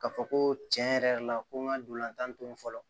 Ka fɔ ko tiɲɛ yɛrɛ la ko n ka ntolan tan to fɔlɔ